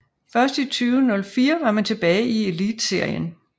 Først i 2004 var man tilbage i Elitserien